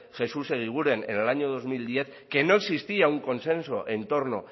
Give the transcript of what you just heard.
jesús eguiguren en el año dos mil diez que no existía un consenso en torno